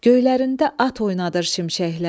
Göylərində at oynadır şimşəklər.